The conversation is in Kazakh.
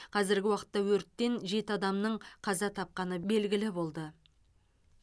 қазіргі уақытта өрттен жеті адамның қаза тапқаны белгілі болды